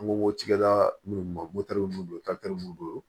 An ko wo cikɛla munnu ma mun don don